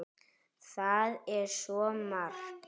Það er svo margt!